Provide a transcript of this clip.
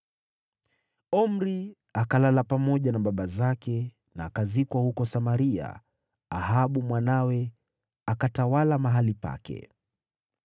Omri akalala pamoja na baba zake na akazikwa huko Samaria. Ahabu mwanawe akatawala mahali pake.